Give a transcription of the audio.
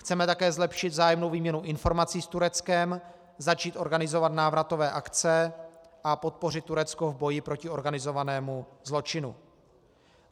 Chceme také zlepšit vzájemnou výměnu informací s Tureckem, začít organizovat návratové akce a podpořit Turecko v boji proti organizovanému zločinu.